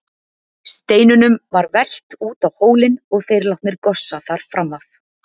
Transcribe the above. Steinunum var velt út á hólinn og þeir látnir gossa þar fram af.